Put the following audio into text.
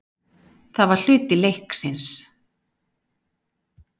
Það var hluti leiksins.